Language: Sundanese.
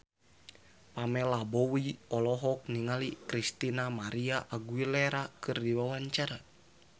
Pamela Bowie olohok ningali Christina María Aguilera keur diwawancara